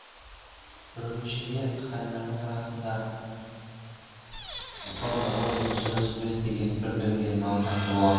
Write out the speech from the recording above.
үрімшіде қытайлардың арасында со далое жүз отыз бес деген бір дүнген мансапты болатын